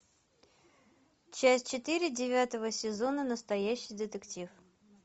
часть четыре девятого сезона настоящий детектив